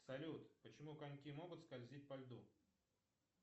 салют почему коньки могут скользить по льду